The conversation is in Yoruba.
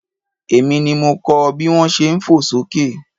Èmi ni mo kọ bí wón ṣe fò sókè.